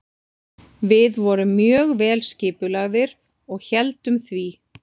Við vorum mjög vel skipulagðir og héldum því.